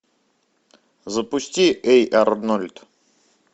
запусти эй арнольд